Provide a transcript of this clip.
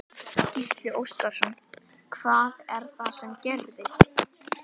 Gísli Óskarsson: Hvað er það sem gerðist?